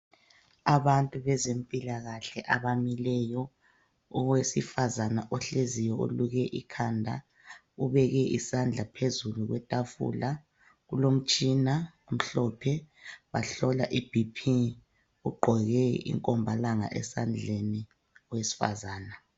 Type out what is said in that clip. Abantu abezempilakahle abamileyo owesifazana ohleziyo oluke ikhanda ubeke isandla phezulu kwetafula kulomtshina omhlophe bahlola iBp ugqoke ikomba langa esandleni owesifazana